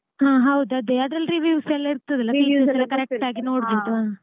ಹಾ ಹೌದು ಅದೇ ಅದ್ರಲ್ಲ್ reviews ಎಲ್ಲ ಇರ್ತದಲ್ಲ reviews ಎಲ್ಲ correct ಆಗಿ ನೋಡ್ಬಿಟ್ಟು ,